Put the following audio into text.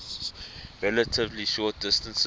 relatively short distances